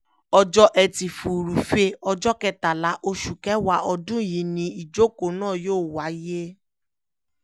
ọjọ́ etí furuufee ọjọ́ kẹtàlá oṣù kẹwàá ọdún yìí ni ìjókòó náà yóò wáyé